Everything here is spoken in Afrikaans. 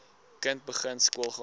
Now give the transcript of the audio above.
kind begin skoolgaan